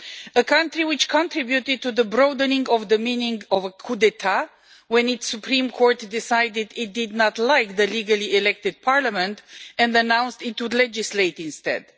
A country which contributed to the broadening of the meaning of a when its Supreme Court decided it did not like the legally elected parliament and announced it would legislate instead.